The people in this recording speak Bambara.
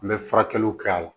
N bɛ furakɛliw kɛ a la